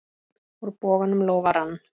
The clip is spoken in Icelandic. Úr bognum lófa rann.